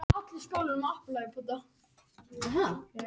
Smávægileg lækkun á skuldabréfamarkaði